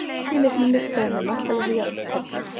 Fyrri leiknum lyktaði með markalausu jafntefli